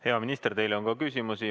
Hea minister, teile on ka küsimusi.